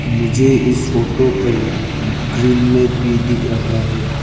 मुझे इस फोटो पर ग्रीन मे भी दिख रहा है।